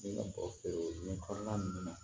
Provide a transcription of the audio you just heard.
Ne ka bɔ feere in kɔnɔna na